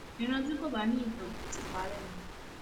ìran tí kò bá ní ìtàn ò ti parẹ ni